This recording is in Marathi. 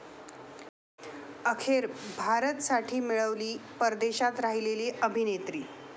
अखेर 'भारत'साठी मिळाली परदेशात राहिलेली अभिनेत्री!